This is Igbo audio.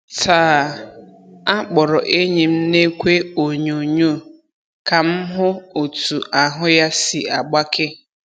Taa, akpọrọ enyi m n'ekwe onyoonyo ka m hụ otú ahụ́ ya si agbake.